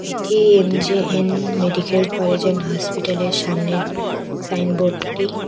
এটি M J N medical college and হসপিটালের সামনের সাইনবোর্ডটি।